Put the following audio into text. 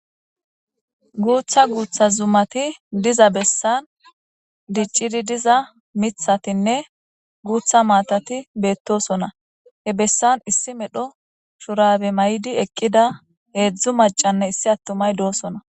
Botha botha zumati diza besan dicidi diza mithatine gutha matati betosona he besan issi medho mayidi eqida hezu macanee issi atumay de'osona